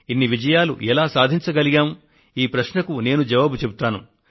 ఇన్ని విజయాలు ఎలా సాధించగలిగాం ఈ ప్రశ్నకు నేను జవాబిస్తాను